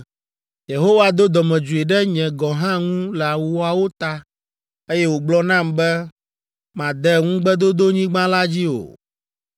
Yehowa do dɔmedzoe ɖe nye gɔ̃ hã ŋu le woawo ta, eye wògblɔ nam be, “Màde Ŋugbedodonyigba la dzi o!